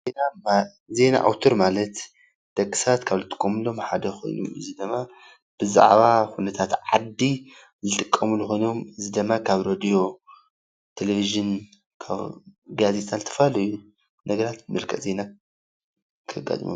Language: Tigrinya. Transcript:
ዜና ኣዉታር ማለት ደቂ ሰባት ካብ ዝጥቀምሎም ሓደ ኮይኑ እዚ ድማ ብዛዕባ ኩነታት ዓዲ ዝጥቀምሉ ኮይኖሞ፤ እዚ ድማ ካብ ሮድዮ ፣ቴልቢዥኒ ጋዜጣ ካብ ዝተፋላለዩ ነገራት መልክዕ ዜና ከጋጥሞ።